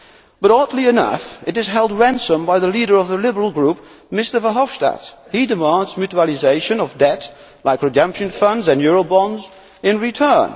But, oddly enough, it is held to ransom by the leader of the Liberal Group Mr Verhofstadt. He demands mutualisation of debt like redemption funds and eurobonds in return.